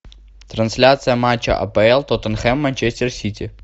трансляция матча апл тоттенхэм манчестер сити